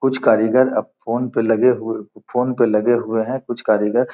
कुछ कारीगर अब फोन पे लगे हुए फोन पे लगे हुए है कुछ कारीगर।